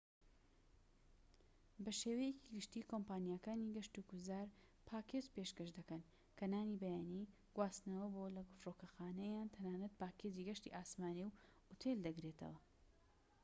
بە شێوەیەکی گشتى کۆمپانیاکانی گەشت و گوزار پاکێج پێشکەش دەکەن کە نانی بەیانی، گواستنەوە بۆ/لە فرۆکەخانە یان تەنانەت پاکێجی گەشتی ئاسمانی و ئوتێل دەگرێتەوە